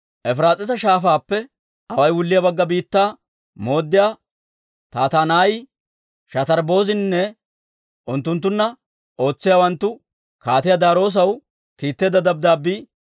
Efiraas'iisa Shaafaappe away wulliyaa bagga biittaa mooddiyaa Tattanaayi, Shatarbbozininne unttunttunna ootsiyaawanttu Kaatiyaa Daariyoosaw kiitteedda dabddaabbii